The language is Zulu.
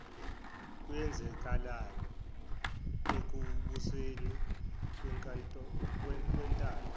eyenzekalayo ekubuseni kwentando